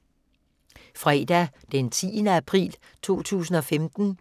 Fredag d. 10. april 2015